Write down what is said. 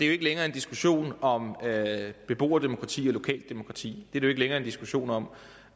jo ikke længere en diskussion om beboerdemokrati og lokaldemokrati det er det jo ikke længere en diskussion om